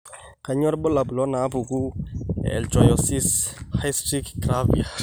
Kainyio irbulabul onaapuku eIchthyosis hystrix gravior?